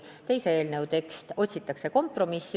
Teise eelnõu tekstis otsitakse kompromissi.